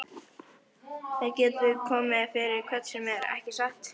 Það getur komið fyrir hvern sem er, ekki satt?